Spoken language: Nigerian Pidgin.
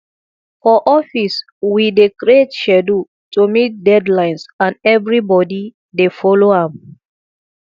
for office we dey create schedule to meet deadlines and everybodi dey folo am